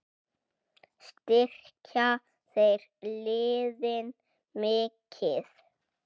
Styrkja þeir liðin mikið?